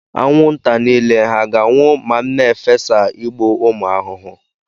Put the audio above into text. Anwụnta niile hà ga-anwụ ma m na-efesa igbu ụmụ ahụhụ?